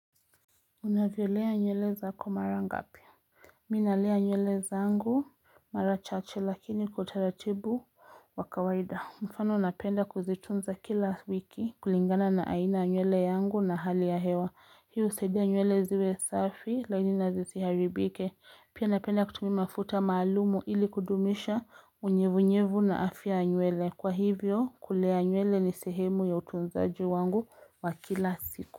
Unavyolea nywele zako mara ngapi? Mi nalea nywele zangu mara chache lakini utaratibu wa kawaida. Mfano napenda kuzitunza kila wiki kulingana na aina nywele yangu na hali ya hewa. Hii husaidia nywele ziwe safi laini na zisiharibike. Pia napenda kutumia mafuta maalumu ili kudumisha unyevunyevu na afya ya nywele. Kwa hivyo kulea nywele ni sehemu ya utunzaji wangu wa kila siku.